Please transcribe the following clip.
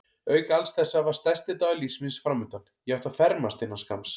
Auk alls þessa var stærsti dagur lífs míns framundan: ég átti að fermast innan skamms.